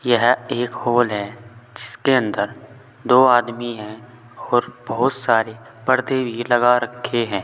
यह एक हॉल है जिसके अंदर दो आदमी हैं और बहुत सारे पर्दे भी लगा रखे हैं।